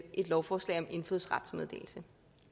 et lovforslag om indfødsrets meddelelse